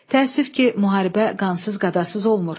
Təəssüf ki, müharibə qansız qadasız olmur.